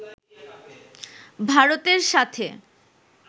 ভারতের সাথে